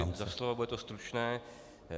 Děkuji za slovo, bude to stručné.